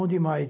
Onde mais?